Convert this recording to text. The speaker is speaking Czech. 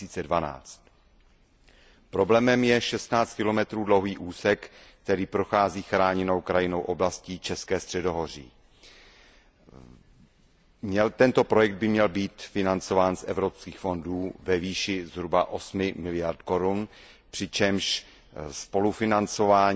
2012. Problémem je 16 kilometrů dlouhý úsek, který prochází Chráněnou krajinnou oblastí České středohoří. Tento projekt by měl být financován z evropských fondů ve výši zhruba 8 miliard korun, přičemž spolufinancování